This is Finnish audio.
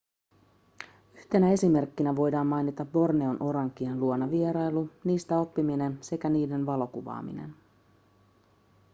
yhtenä esimerkkinä voidaan mainita borneon orankien luona vierailu niistä oppiminen sekä niiden valokuvaaminen